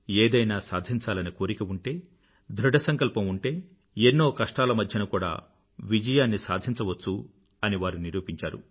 ఏదైనా సాధించాలనే కోరిక ఉంటే ధృఢసంకల్పం ఉంటే ఎన్నో కష్టాల మధ్యన కూడా విజయాన్ని సాధించవచ్చు అని వారు నిరూపించారు